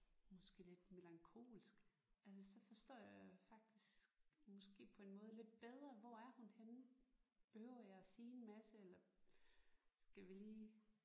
Måske lidt melankolsk altså så forstår jeg faktisk måske på en måde lidt bedre hvor er hun henne. Behøver jeg at sige en masse eller skal vi lige